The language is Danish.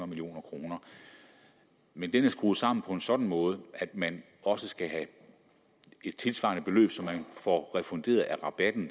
million kroner men den er skruet sammen på en sådan måde at man også skal have et tilsvarende beløb som man får refunderet af rabatten